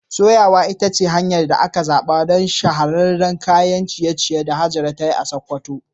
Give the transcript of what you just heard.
Soyawa ita ce hanyar da aka zaɓa don shahararren kayan ciye-ciye da Hajara ta yi a Sakkwato.